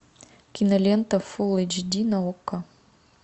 кинолента фул эйч ди на окко